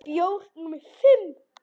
Með bjór númer fimm.